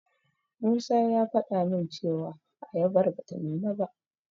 Musa ya faɗa min cewa ayabar bata nuna ba.